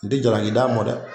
N dɛ jalaki d'a ma dɛ